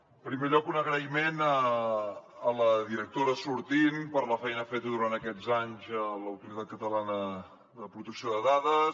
en primer lloc un agraïment a la directora sortint per la feina feta durant aquests anys a l’autoritat catalana de protecció de dades